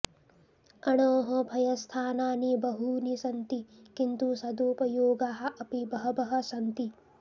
अणोः भयस्थानानि बहूनि सन्ति किन्तु सदुपयोगाः अपि बहवः सन्ति